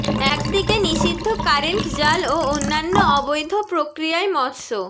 একদিকে নিষিদ্ধ কারেন্ট জাল ও অন্যান্য অবৈধ প্রক্রিয়ায় মৎস্য